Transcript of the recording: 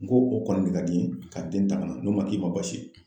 N ko o kɔni de ka di n ye, ka den ta ka na n'o ma k'i ma basi ye